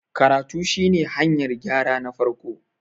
karatu shi ne hanyar gyra na farko